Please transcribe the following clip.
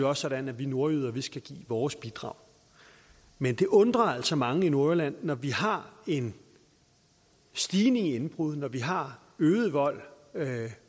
også sådan at vi nordjyder skal give vores bidrag men det undrer altså mange i nordjylland at når vi har en stigning i indbrud når vi har øget vold